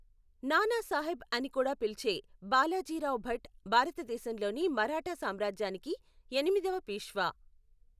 నానా సాహెబ్ అని కూడా పిలిచే బాలాజీరావు భట్ భారతదేశంలోని మరాఠా సామ్రాజ్యానికి ఎనిమిదవ పీష్వా.